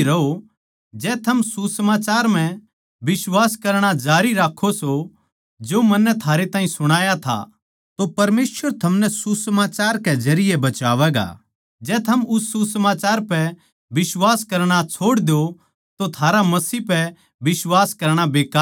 जै थम सुसमाचार म्ह बिश्वास करणा जारी राक्खों सों जो मन्नै थारै ताहीं सुणाया था तो परमेसवर थमनै सुसमाचार के जरिये बचावैगा जै थम उस सुसमाचार पै बिश्वास करणा छोड़ द्यो तो थारा मसीह पै बिश्वास करणा बेकार सै